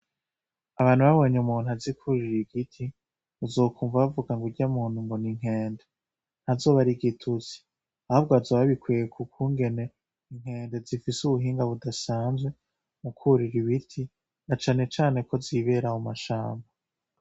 Abantu babonye umuntu azi kwurira igiti uzokunva bavugango uryamuntu ngo ninkende. Ntazoba arigitutsi ahubwo bazoba babikuye kukungene inkende zifise ubuhinga budasanzwe mukwurira ibiti na cane cane kozibera mu mashamba.